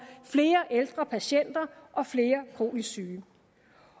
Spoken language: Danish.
flere ældre patienter og flere kronisk syge